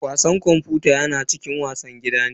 Wasan kwamfuta yana cikin wasan gida ne.